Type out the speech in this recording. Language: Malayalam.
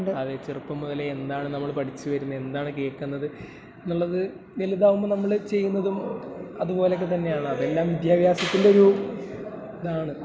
അതെ, ചെറുപ്പം മുതലേ എന്താണ് നമ്മൾ പേടിച്ചു വരുന്നേ, എന്താണ് കേക്കുന്നത് എന്നുള്ളത്... വലുതാകുമ്പോ നമ്മള് ചെയ്യുന്നതും അതുപോലൊക്കെ തന്നെയാണ്. അതെല്ലാം വിദ്യാഭ്യാസത്തിന്റെ ഒരു ഇതാണ്.